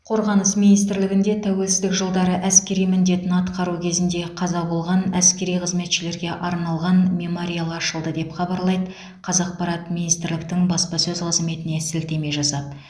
қорғаныс министрлігінде тәуелсіздік жылдары әскери міндетін атқару кезінде қаза болған әскери қызметшілерге арналған мемориал ашылды деп хабарлайды қазақпарат министрліктің баспасөз қызметіне сілтеме жасап